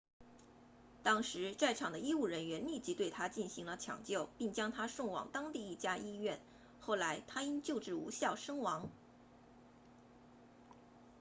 当时在场的医务人员立即对他进行了抢救并将他送往当地一家医院后来他因救治无效身亡